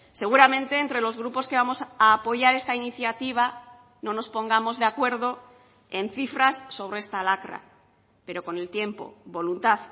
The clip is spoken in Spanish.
seguramente entre los grupos que vamos a apoyar esta iniciativa no nos pongamos de acuerdo en cifras sobre esta lacra pero con el tiempo voluntad